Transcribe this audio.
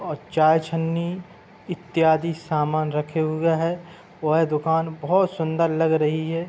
और चाय छननी इत्यादि समान रखे हुए हैं। वह दुकान बहुत सुन्दर लग रही है।